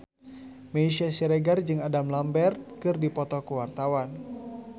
Meisya Siregar jeung Adam Lambert keur dipoto ku wartawan